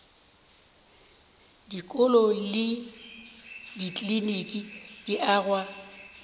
dikolo le dikliniki di agwa